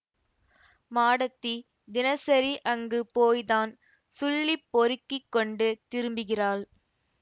மாடத்தி தினசரி அங்கு போய்த்தான் சுள்ளி பொறுக்கிக் கொண்டு திரும்புகிறாள்